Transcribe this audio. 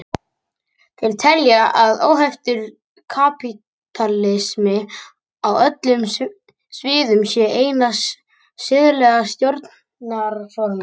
Þeir telja að óheftur kapítalismi á öllum sviðum sé eina siðlega stjórnarformið.